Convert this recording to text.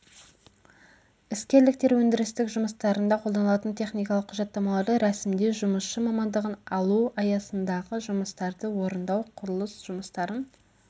іскерліктер өндірістік жұмыстарында қолданылатын техникалық құжаттамаларды рәсімдеу жұмысшы мамандығын алу аясындағы жұмыстарды орындау құрылыс жұмыстарын